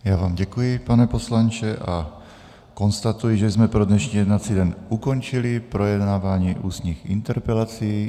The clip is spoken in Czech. Já vám děkuji, pane poslanče, a konstatuji, že jsme pro dnešní jednací den ukončili projednávání ústních interpelací.